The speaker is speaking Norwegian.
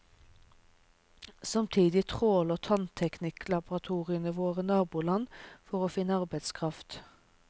Samtidig tråler tannteknikerlaboratoriene våre naboland for å finne arbeidskraft.